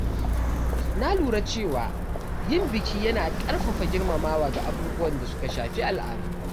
Na lura cewa yin biki yana ƙarfafa girmamawa ga abubuwan da suka shafi al’adu.